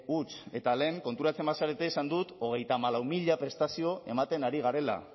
huts eta lehen konturatzen bazarete esan dut hogeita hamalau mila prestazio ematen ari garela